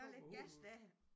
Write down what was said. Lidt gas der